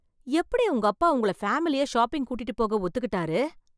எப்படி உங்க அப்பா உங்களை பேமிலியா ஷாப்பிங் கூட்டிட்டு போக ஒத்துக்கிட்டாரு!